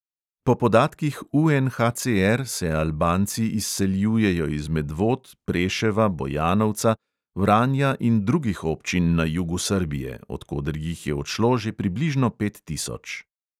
Po podatkih UNHCR se albanci izseljujejo iz medvod, preševa, bojanovca, vranja in drugih občin na jugu srbije, od koder jih je odšlo že približno pet tisoč.